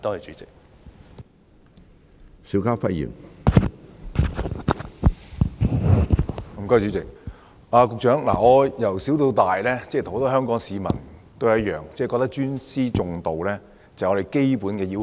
主席，局長，我自小跟其他香港市民一樣，認為尊師重道是做人的基本要求。